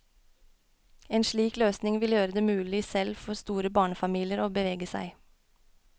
En slik løsning vil gjøre det mulig selv for store barnefamilier å bevege seg.